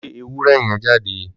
Lé ewúrẹ́ yẹn jáde!